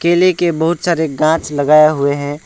के बहुत सारे घाच लगाए हुए हैं।